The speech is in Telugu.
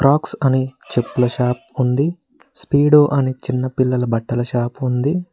ఆక్స్ అని చెప్పుల షాప్ ఉంది స్పీడో అని చిన్న పిల్లల బట్టల షాప్ ఉంది.